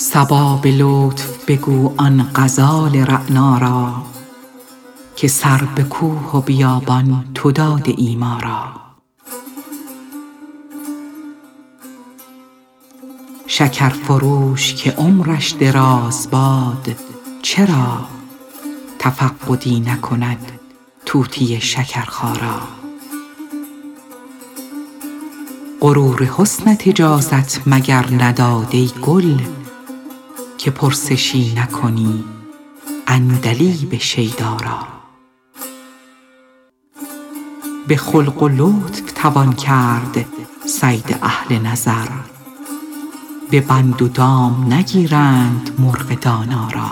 صبا به لطف بگو آن غزال رعنا را که سر به کوه و بیابان تو داده ای ما را شکر فروش که عمرش دراز باد چرا تفقدی نکند طوطی شکرخا را غرور حسنت اجازت مگر نداد ای گل که پرسشی نکنی عندلیب شیدا را به خلق و لطف توان کرد صید اهل نظر به بند و دام نگیرند مرغ دانا را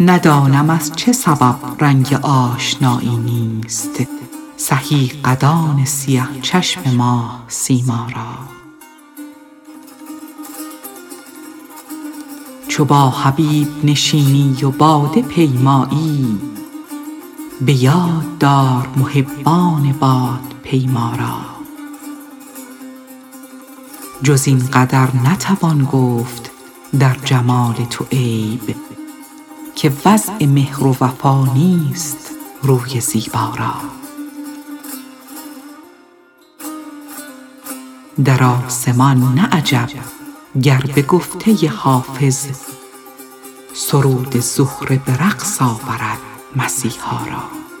ندانم از چه سبب رنگ آشنایی نیست سهی قدان سیه چشم ماه سیما را چو با حبیب نشینی و باده پیمایی به یاد دار محبان بادپیما را جز این قدر نتوان گفت در جمال تو عیب که وضع مهر و وفا نیست روی زیبا را در آسمان نه عجب گر به گفته حافظ سرود زهره به رقص آورد مسیحا را